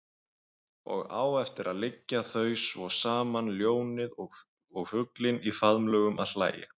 Og á eftir liggja þau svo saman ljónið og fuglinn í faðmlögum og hlæja.